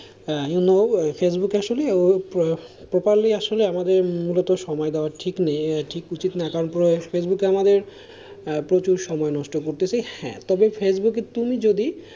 You know Facebook আসলে totally আসলে আমাদের মূলত সময় দেওয়ার ঠিক নেই ঠিক উচিত না কারণ পুরো ফেসবুকে আমারে প্রচুর সময় নষ্ট করতেছে, হ্যাঁ তবে ফেসবুক একটুখানি যদি,